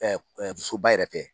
fusoba yɛrɛ tɛ